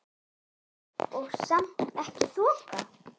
Og samt ekki þoka.